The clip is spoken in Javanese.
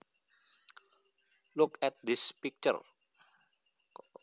Look at this picture